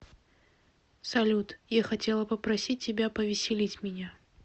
салют я хотела попросить тебя повеселить меня